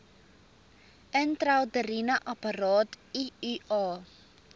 intrauteriene apparaat iua